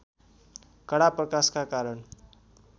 कडा प्रकाशका कारण